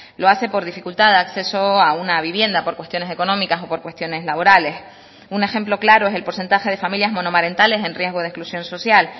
lo hace por dificultad de acceso a una vivienda por cuestiones económicas o por cuestiones laborales un ejemplo claro es el porcentaje de familias monomarentales en riesgo de exclusión social